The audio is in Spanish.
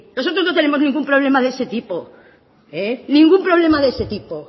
nosotros no tenemos ningún problema de ese tipo ningún problema de ese tipo